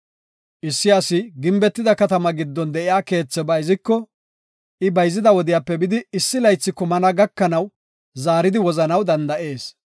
Issi asi gimbetida katama giddon de7iya keethe bayziko, I bayzida wodiyape bidi issi laythi kumana gakanaw zaaridi wozanaw danda7ees.